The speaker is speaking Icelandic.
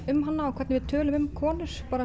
um hana og hvernig við tölum um konur